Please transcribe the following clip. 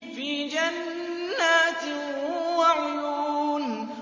فِي جَنَّاتٍ وَعُيُونٍ